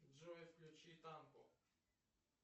джой включи танго